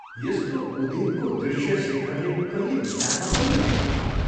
यस्तो उदेकको दृश्य शेखरले कहिले विचारमा पनि ल्याएको थिएन।